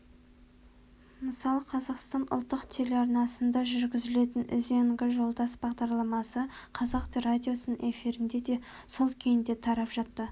мысалы қазақстан ұлттық телеарнасында жүргізілетін үзеңгі жолдас бағдарламасы қазақ радиосының эфирінде де сол күйінде тарап жатты